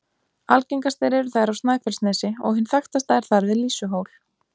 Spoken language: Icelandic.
Algengastar eru þær á Snæfellsnesi, og hin þekktasta er þar við Lýsuhól.